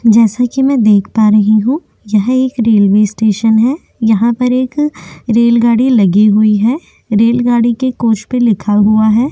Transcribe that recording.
जैसा कि मैं देख पा रही हूँ यह एक रेलवे स्टेशन है यहाँ पर एक रेलगाड़ी लगी हुई है रेलगाड़ी के कोच पे लिखा हुआ है।